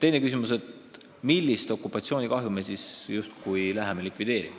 Teine küsimus: millist okupatsioonikahju me siis justkui hakkame heastama?